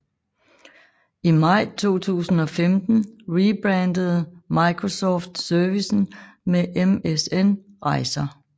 I maj 2015 rebrandede Microsoft servicen som MSN Rejser